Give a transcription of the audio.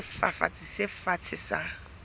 ya sefafatsi se fatshe sa